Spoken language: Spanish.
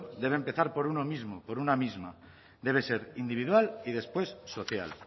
debe empezar por uno mismo por una misma debe ser individual y después social